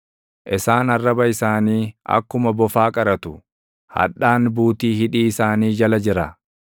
Isaan arraba isaanii akkuma bofaa qaratu; hadhaan buutii hidhii isaanii jala jira.